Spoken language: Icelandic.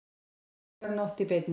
Menningarnótt í beinni